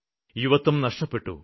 യുവത്വം നഷ്ടപ്പെട്ടു